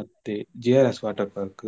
ಮತ್ತೆ JRS water park .